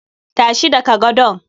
Tashi daga gadon!